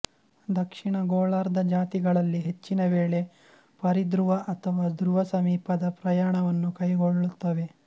ದಕ್ಷಿಣ ಗೋಳಾರ್ಧ ಜಾತಿಗಳಲ್ಲಿ ಹೆಚ್ಚಿನ ವೇಳೆ ಪರಿಧ್ರುವ ಅಥವಾ ಧ್ರುವ ಸಮೀಪದ ಪ್ರಯಾಣವನ್ನು ಕೈಗೊಳ್ಳುತ್ತವೆ